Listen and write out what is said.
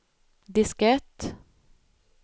diskett